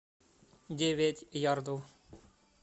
девять ярдов